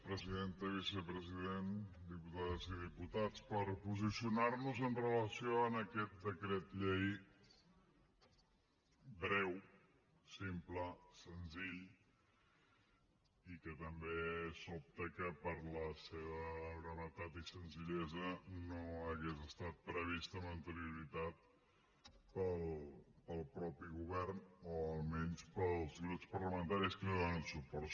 presidenta i vicepresident diputades i diputats per posicionar nos amb relació a aquest decret llei breu simple senzill i que també sobta que per la seva brevetat i senzillesa no hagués estat previst amb anterioritat pel mateix govern o almenys pels grups parlamentaris que li donen suport